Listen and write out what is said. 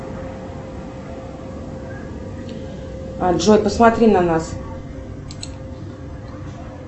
джой посмотри на нас